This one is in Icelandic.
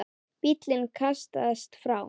Bíllinn kastast áfram.